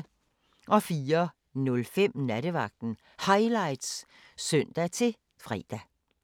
04:05: Nattevagten Highlights (søn-fre)